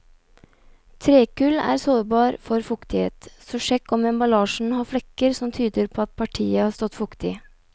Trekull er sårbar for fuktighet, så sjekk om emballasjen har flekker som tyder på at partiet har stått fuktig.